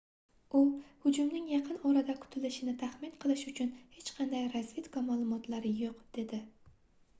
u hujumning yaqin-orada kutilishini taxmin qilish uchun hech qanday razvedka maʼlumotlari yoʻq dedi